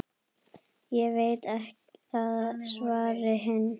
Ég veit það, svaraði hinn.